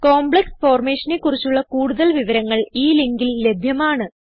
complex formationനെ കുറിച്ചുള്ള കൂടുതൽ വിവരങ്ങൾ ഈ ലിങ്കിൽ ലഭ്യമാണ്